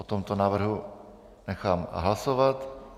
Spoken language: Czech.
O tomto návrhu nechám hlasovat.